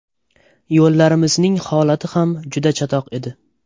Yo‘llarimizning holati ham juda chatoq edi.